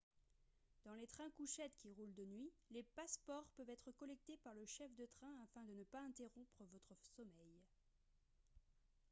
dans les trains-couchettes qui roulent de nuit les passeports peuvent être collectés par le chef de train afin de ne pas interrompre votre sommeil